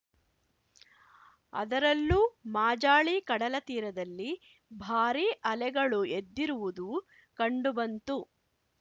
ಅದರಲ್ಲೂ ಮಾಜಾಳಿ ಕಡಲತೀರದಲ್ಲಿ ಭಾರಿ ಅಲೆಗಳು ಎದ್ದಿರುವುದು ಕಂಡುಬಂತು